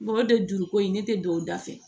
Ngɔ de juruko in ne tɛ don o da fɛ